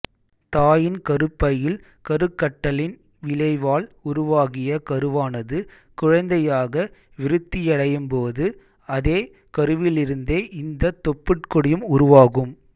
தாயின் கருப்பையில் கருக்கட்டலின் விளைவால் உருவாகிய கருவானது குழந்தையாக விருத்தியடையும் போது அதே கருவிலிருந்தே இந்த தொப்புட்கொடியும் உருவாகும்